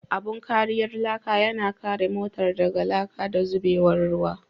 Abun kariyar laka yana kare motar daga laka da zubewar ruwa.